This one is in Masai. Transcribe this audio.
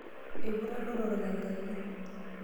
Eiputa ilotorrok enkaji .